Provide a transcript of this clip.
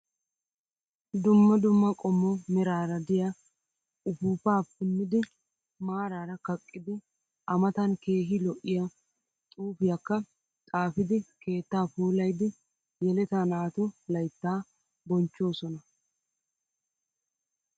Dumma dumma qommo meraara diyaa upuuppaa punnidi maaraa kaqqidi A matan keehi lo'iyaa xuupiyaakka xaapidi keetta puulayidi yeleta naatu layittaa boonchchoosona.